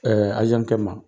kɛ ma.